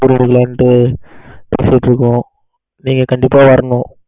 இருக்கோம் நீங்க கண்டிப்பா வரணும்.